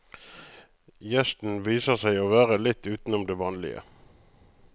Gjesten viser seg å være litt utenom det vanlige.